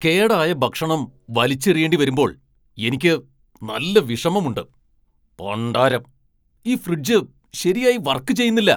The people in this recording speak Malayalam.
കേടായ ഭക്ഷണം വലിച്ചെറിയേണ്ടിവരുമ്പോൾ എനിക്ക് നല്ല വിഷമമുണ്ട് , പണ്ടാരം! ഈ ഫ്രിഡ്ജ് ശരിയായി വർക് ചെയുന്നില്ല !